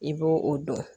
I b'o o don